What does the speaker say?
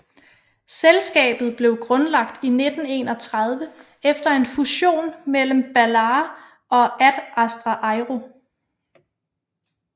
Selskabet blev grundlagt i 1931 efter en fusion mellem Balair og Ad Astra Aero